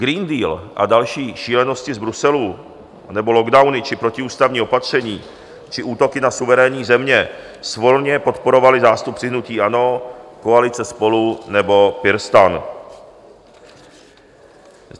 Green Deal a další šílenosti z Bruselu, nebo lockdowny či protiústavní opatření či útoky na suverénní země svolně podporovali zástupci hnutí ANO, koalice Spolu nebo PirSTAN.